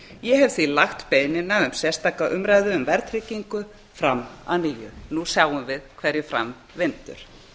ég hef því lagt beiðnina um sérstaka umræðu um verðtryggingu fram að nýju nú sjáum við hverju fram vindur